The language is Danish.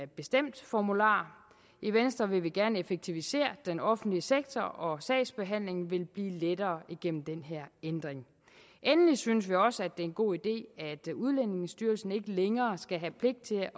bestemt formular i venstre vil vi gerne effektivisere den offentlige sektor og sagsbehandlingen vil blive lettere igennem den her ændring endelig synes vi også at det er en god idé at udlændingestyrelsen ikke længere skal have pligt til